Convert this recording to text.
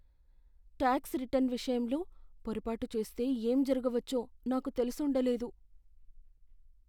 Talks return విషయంలో పొరపాటు చేస్తే ఏం జరగవచ్చో నాకు తెలిసుండ లేదు.